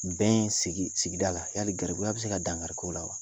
Bɛn sigi sigida la yali garibuya bi se ka dangariko la wa ?